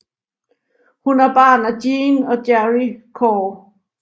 Hun er barn af Jean og Gerry Corr